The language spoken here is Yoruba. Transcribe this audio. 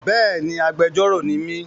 Béèni, agbẹjọ́rọ̀ ni mí.